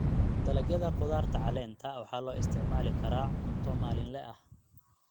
Dalagyada khudaarta caleenta waxaa loo isticmaali karaa cunto maalinle ah.